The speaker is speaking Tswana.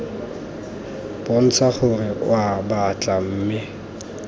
bontsha gore oa batla mme